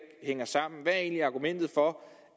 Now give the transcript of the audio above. hænger sammen hvad er egentlig argumentet for